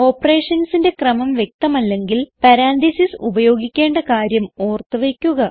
Operationsന്റെ ക്രമം വ്യക്തമല്ലെങ്കിൽ പരാൻതീസിസ് ഉപയോഗിക്കേണ്ട കാര്യം ഓർത്ത് വയ്ക്കുക